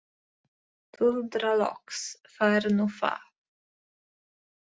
Tuldra loks: Það er nú það.